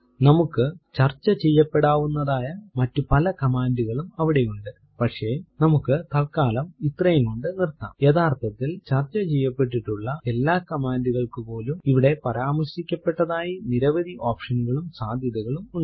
നമുക്ക് ചർച്ച ചെയ്യപ്പെടാവുന്നതായ മറ്റു പല command കളും അവിടെയുണ്ട് പക്ഷെ നമുക്ക് തല്ക്കാലം ഇത്രയും കൊണ്ട് നിർത്താംയഥാർത്ഥത്തിൽ ചർച്ച ചെയ്യപ്പെട്ടിട്ടുള്ള എല്ലാ command കൾക്കുപോലും ഇവിടെ പരാമർശിക്കപ്പെടാത്തതായ നിരവധി option കളും സാധ്യതകളും ഉണ്ട്